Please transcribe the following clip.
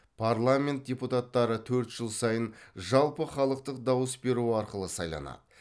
парламент депутаттары төрт жыл сайын жалпыхалықтық дауыс беру арқылы сайланады